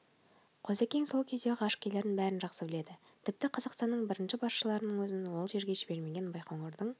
қозыкең сол кездегі ғарышкерлердің бәрін жақсы біледі тіпті қазақстанның бірінші басшыларынң өзін ол жерге жібермеген байқоңырдың